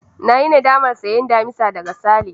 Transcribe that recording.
Na yi nadamar sayen damisa daga Sale.